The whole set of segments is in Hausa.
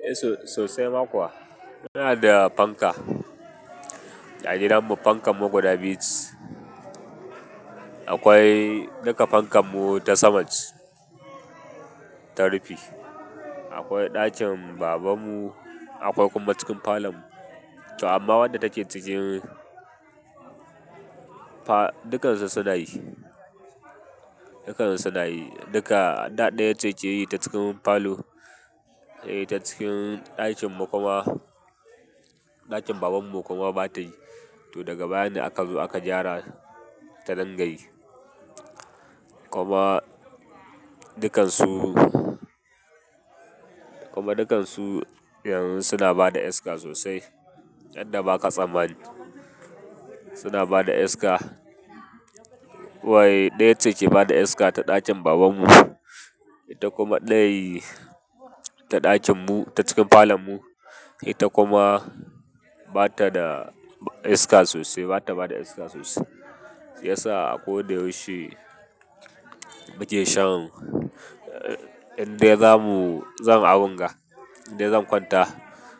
Eh, sosai ma kuwa. Muna da fanka, ɗa gidanmu fankanmu guda biyu. Akwai duka fankanmu ta saman, ta rufi. Akwai ɗakin babanmu, akwai kuma cikin falon mu. To amma wadda take cikin fa-- dukansu suna yi, dukansu suna yi duka. Ɗa ɗaya ce ke yi ta cikin falo, eh ta cikin ɗakinmu kuma, ɗakin babanmu kuma bata yi. To daga baya ne aka zo aka gyara ta dingayi. Kuma dukansu, kuma dukansu yanzu suna bada iska sosai. Inda ba ka tsammani suna bada iska. Wai ɗaya ce ke bada iska ta ɗakin babanmu, ita kuma ɗaya ta ɗakinmu ta cikin falonmu, ita kuma bata da iska sosai, bata bada iska sosai. Ya sa a ko da yaushe muke shan indai zamu, zan a wunga, indai zan kwanta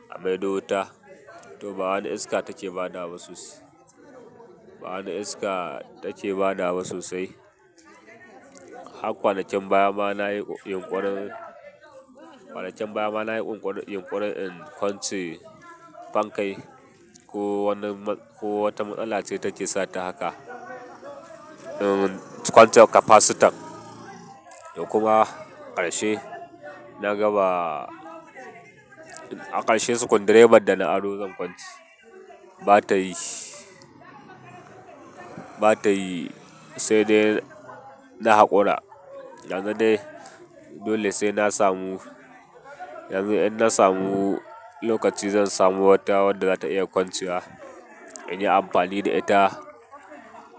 a maiɗota, to ba wani iska take badawa sosai. Ba wani iska take badawa sosai. Har kwanakin baya ma nayi yunƙurin, kwanakin baya ma nayi yunƙurin in kwance fankai. Ko wani ma-- ko wata matsala ce take sa ta haka. In kwance kapasitan kuma ƙarshe, na gaba a ƙarshe sukundireban da na aro zan kwanci. Bata yi, bata yi sai dai na haƙura. Yanzu dai dole sai na samu, yanzu idan na samu lokaci zan samu wata wadda zata iya kwancewa, in yi amfani da ita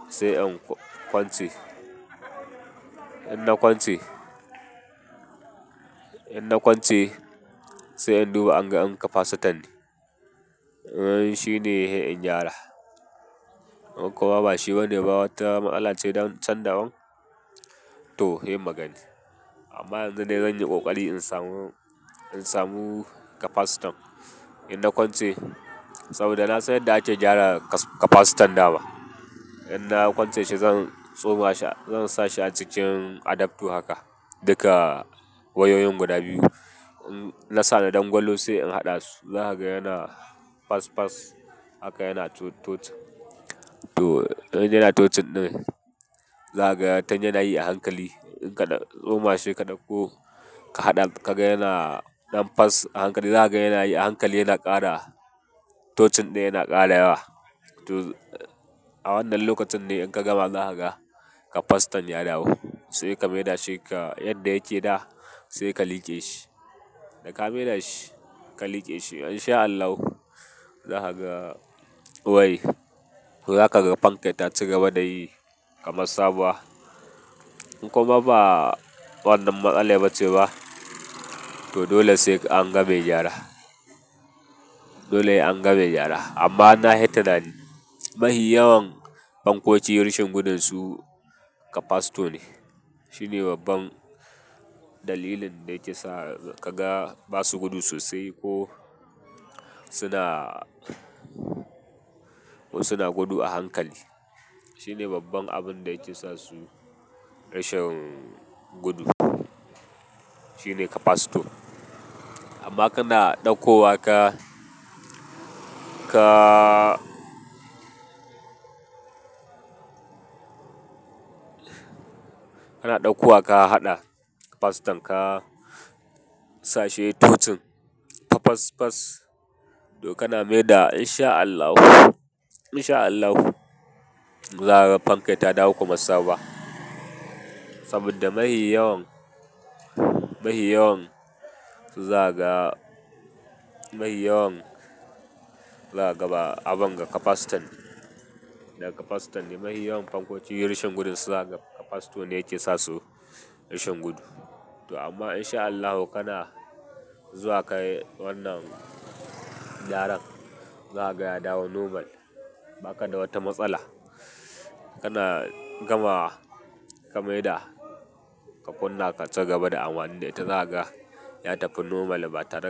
sai in kwance. In na kwance, in na kwance sai in duba inga in kapasitan ne. Eh shine in gyara. In kuma ba shi bane ba wata matsala ce don canɗaban to he magani. Amma yanzu dai zanyi kokari in samu, in samu kapasitan. In na kwance saboda na san yadda ake gyara kas-kapasitan dama. In na kwance shi zan tsoma shi, zan sa shi a cikin adaptor haka duka wayoyin guda biyu. Na sa na dangwalo sai in haɗa su, zakaga yana fasfas haka yana tocin. To in yana tocin ɗin, zakaga tunyi yana yi a hankali. In ka ɗa-- tsoma shi ka ɗauko ka haɗa ka ga yana ɗan fas a hankali zakaga yana yi a hankali yana ƙara tocin ɗin yana ƙara yawa. To a wannan lokacin ne in ka gama zakaga kapasitan ya dawo. Sai ka mai da shi ka, yanda yake da sai ka liƙe shi. Da ka mai da shi ka liƙe shi in sha Allah zakaga wai zakaga fanka ta cigaba da yi kamar sabuwa. In kuma ba wannan matsala ba ce ba, to dole sai an gama me gyara. Dole sai an ga me gyara. Amma na hi tunani. Mahi yawan fankoki rashin gudunsu kapasito ne. Shine babban dalilin da ke sa ka ga ba su gudu sosai ko suna, suna gudu a hankali. Shine babban abun da yake sa su rashin gudu. Shine kapasito. Amma kana ɗauko wa ka, ka, kana ɗauko wa ka haɗa kapasitan ka, sa shi ya yi tocin fafasfas. To kana mai da in sha Allah, in sha Allah zakaga fanka ta dawo kamar sabuwa. Saboda mahi yawan, mahi yawan zakaga, mahi yawan zakaga ba abun ga kapasitan. Da kapasitan ne mahi yawan fankoki rashin gudunsu zakaga. Kapasito ne yake sa su rashin gudu. To amma in sha Allahu kana zuwa ka yi wannan gyaran zakaga ya dawo normal. Ba ka da wata matsala. Kana gamawa ka mai da ka kunna ka cigaba da amani da ita zakaga ya tafi normal batare.